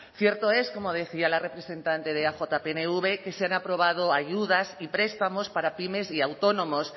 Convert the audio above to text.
cierto es como decía la representante de eaj pnv que se han aprobado ayudas y prestamos para pymes y autónomos